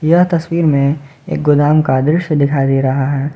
यह तस्वीर में एक गोदाम का दृश्य दिखाई दे रहा है।